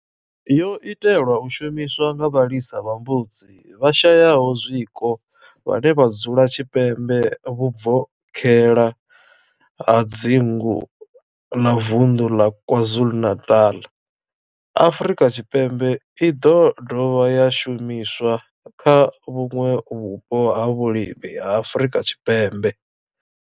Yo itelwa u shumiswa nga vhalisa vha mbudzi vhashayaho zwiko vhane vha dzula tshipembe vhubvokhela ha dzingu la vunḓu la KwaZulu-Natal, Afrika Tshipembe i do dovha ya shumiswa kha vhuṋwe vhupo ha vhulimi ha Afrika Tshipembe.